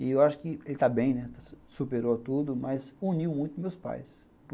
E eu acho que ele está bem, né, superou tudo, mas uniu muito meus pais.